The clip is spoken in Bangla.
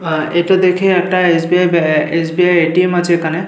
আর এটা দেখে একটা এস. বি. আই. ব্যা এস. বি. আই. এর এ.টি.এম. আছে এখানে।